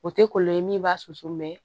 O tɛ kɔlɔlɔ ye min b'a susu